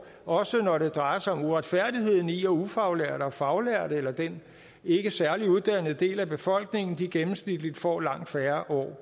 også når det drejer sig om uretfærdigheden i at ufaglærte og faglærte eller den ikke særlig uddannede del af befolkningen gennemsnitligt får langt færre år